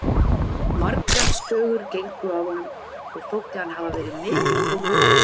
Margar sögur gengu af honum og þótti hann hafa verið mikill bóndi.